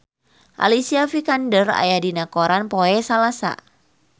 Alicia Vikander aya dina koran poe Salasa